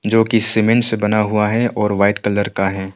जो की सीमेंट से बना हुआ है और वाइट कलर का है।